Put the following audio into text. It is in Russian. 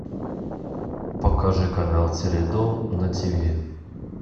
покажи канал теледом на тв